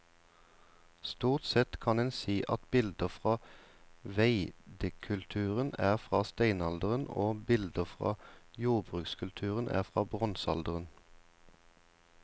Stort sett kan en si at bilder fra veidekulturen er fra steinalderen og bilder fra jordbrukskulturen er fra bronsealderen.